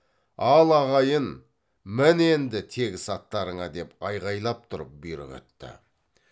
ал ағайын мін енді тегіс аттарыңа деп айғайлап тұрып бұйрық етті